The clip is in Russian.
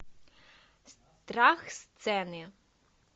страх сцены